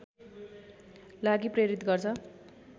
लागि प्रेरित गर्छ